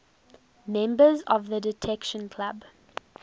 members of the detection club